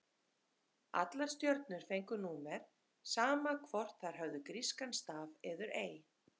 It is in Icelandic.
Allar stjörnur fengu númer, sama hvort þær höfðu grískan staf eður ei.